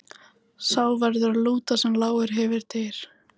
Sá verður að lúta sem lágar hefur dyr.